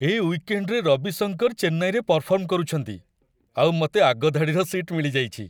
ଏ ୱିକେଣ୍ଡ୍‌ରେ ରବି ଶଙ୍କର ଚେନ୍ନାଇରେ ପରଫର୍ମ କରୁଛନ୍ତି, ଆଉ ମତେ ଆଗ ଧାଡ଼ିର ସିଟ୍ ମିଳିଯାଇଚି!